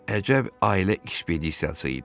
Əcəb ailə iş pedisiyası idi.